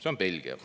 See on Belgia.